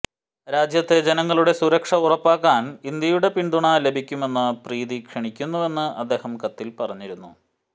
രാജ്യത്തെ ജനങ്ങളുടെ സുരക്ഷ ഉറപ്പാക്കാൻ ഇന്ത്യയുടെ പിന്തുണ ലഭിക്കുമെന്ന് പ്രതീക്ഷിക്കുന്നുവെന്ന് അദ്ദേഹം കത്തിൽ പറഞ്ഞിരുന്നു